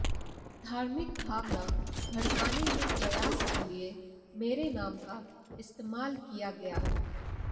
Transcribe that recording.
धार्मिक भावना भड़काने के प्रयास के लिए मेरे नाम का इस्तेमाल किया गया